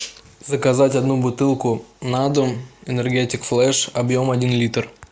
заказать одну бутылку на дом энергетик флеш объем один литр